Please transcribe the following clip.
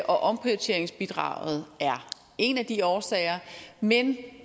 omprioriteringsbidraget er en af de årsager men